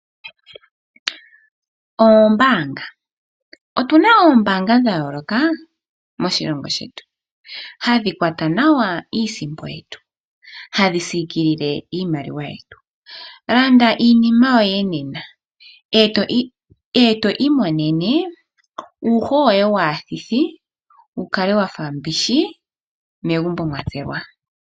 Ombaanga. Otu na oombaanga dha yooloka moshilongo shetu. Hadhi kwata nawa iisimpo yetu, hadhi siikilile iimaliwa yetu. Landa iinima yoye nena ee to imonene uuho woye waathithi wu kale wafa mbishi megumbo mwa tselwa.